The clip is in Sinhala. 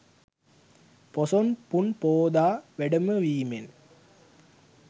පොසොන් පුන් පෝදා වැඩමවීමෙන්